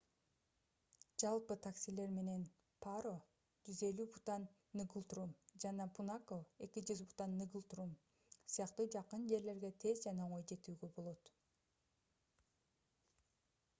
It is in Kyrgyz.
жалпы таксилер менен паро 150 бутан нгултрум жана пунака 200 бутан нгултрум сыяктуу жакын жерлерге тез жана оңой жетүүгө болот